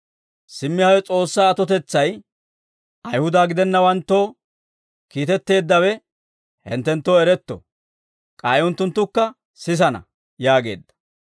«Simmi hawe S'oossaa atotetsay, Ayihuda gidennawanttoo kiitetteeddawe hinttenttoo eretto. K'ay unttunttukka sisana» yaageedda.